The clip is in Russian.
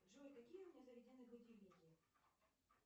джой какие у меня заведены будильники